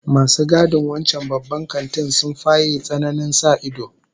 Masu gadin wancan Babban Kantin sun faye tsananin sa ido